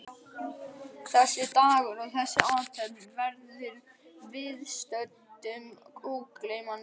Þessi dagur og þessi athöfn verður viðstöddum ógleymanleg.